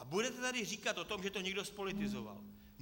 A budete tady říkat o tom, že to někdo zpolitizoval.